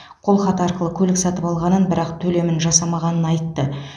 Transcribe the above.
қолхат арқылы көлік сатып алғанын бірақ төлемін жасамағанын айтты